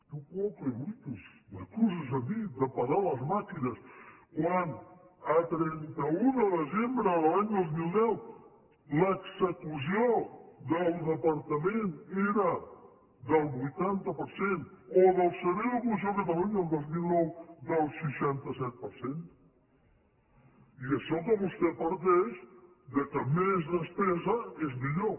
tu quoque brutus m’acuses a mi de parar les màquines quan a trenta un de desembre de l’any dos mil deu l’execució del departament era del vuitanta per cent o del servei d’ocupació de catalunya el dos mil nou del seixanta set per cent i això que vostè parteix que més despesa és millor